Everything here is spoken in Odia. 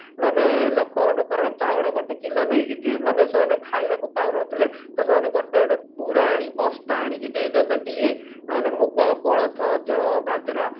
ଦେଇଦେବେ ମାନେ ଚାଉଳ ଗୋଟେ କିଲ ନେଇକି ଯିବେ ମାନେ ସେମାନେ ଖାଇବାକୁ ପାଉ ନଥିଲେ ସେମାନେ ଗୋଟେ ଗୋଟେ ବୁରା ଆଣିକି ବସ୍ତା ଆଣିକି ଦେଇଦେବେ ଇଏ ସେମାନେ ମୁଗ କୋଳଥ ଯଅ ବଜରା